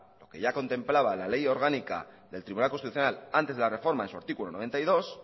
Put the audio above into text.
lo que ya contemplaba la ley orgánica del tribunal constitucional antes de la reforma en su artículo noventa y dos